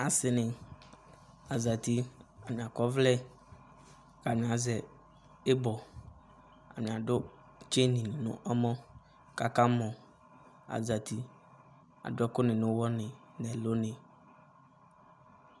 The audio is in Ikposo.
ase ni azati atani akɔ ɔvlɛ ko atani azɛ ibɔ atani ado tseni no ɔmɔ ko aka mɔ azati ado ɛko ni no owɔ ni no ɛlo ni